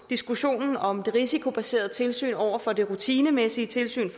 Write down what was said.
diskussionen om det risikobaserede tilsyn over for det rutinemæssige tilsyn